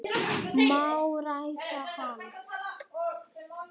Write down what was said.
Má ræða hana?